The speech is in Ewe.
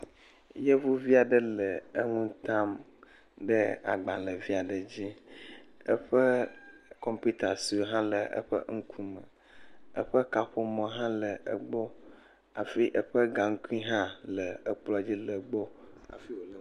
Yevia ɖe le enu tam le gbalẽvia ɖe dzi eƒe kɔmpita sɔe aɖe hã le eƒe ŋku me. Eƒe kaƒomɔ hã le egbɔ hafi eƒe gankui hã le gbɔ, hafi wole egbɔ.